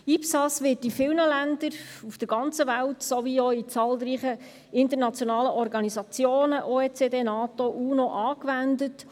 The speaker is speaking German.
IPSAS wird in vielen Ländern auf der ganzen Welt sowie auch von zahlreichen internationalen Organisationen – OECD, NATO und UNO – angewendet.